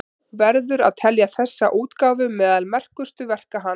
Verður að telja þessa útgáfu meðal merkustu verka hans.